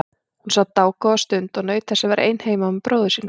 Hún sat dágóða stund og naut þess að vera ein heima með bróður sínum.